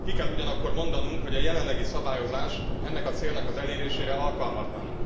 Ki kell ugyanakkor mondanunk, hogy a jelenlegi szabályozás ennek a célnak az elérésére alkalmatlan.